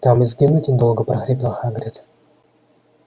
там и сгинуть недолго прохрипел хагрид